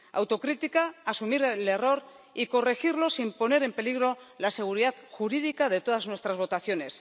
Autocrítica, asumir el error y corregirlo sin poner en peligro la seguridad jurídica de todas nuestras votaciones.